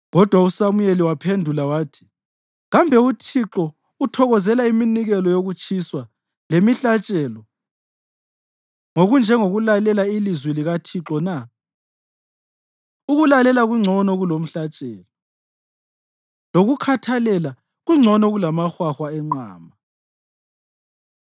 Kodwa uSamuyeli waphendula wathi: “Kambe uThixo uthokozela iminikelo yokutshiswa lemihlatshelo ngokunjengokulalela ilizwi likaThixo na? Ukulalela kungcono kulomhlatshelo, lokukhathalela kungcono kulamahwahwa enqama.